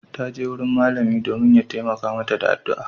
Ta je wurin malami domin ya taimaka mata da addu'a.